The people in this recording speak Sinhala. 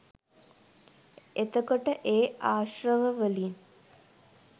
එතකොට ඒ ආශ්‍රව වලින්